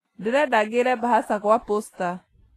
Ndĩrenda ngĩre mbahaca gwa posta